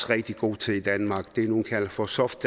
rigtig gode til i danmark det nogle kalder for soft